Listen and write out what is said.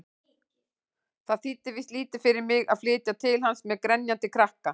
Það þýddi víst lítið fyrir mig að flytja til hans-með grenjandi krakka!